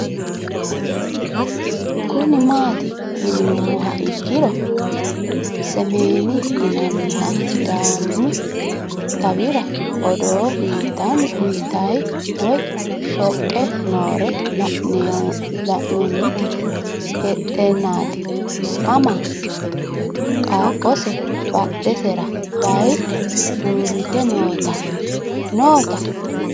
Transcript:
Kuni mati yinumoha ikiro smn yinaniha sidaamu xawira odoo uyitayi woyi shoqe noore lan'enoti hexenani ama qaqose badhesera bayidhe uurite noota